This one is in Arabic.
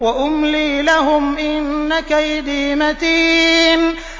وَأُمْلِي لَهُمْ ۚ إِنَّ كَيْدِي مَتِينٌ